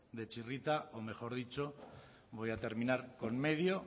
de txirrita o mejor dicho voy a terminar con medio